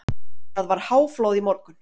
Það var háflóð í morgun.